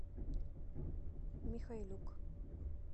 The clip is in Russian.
михайлюк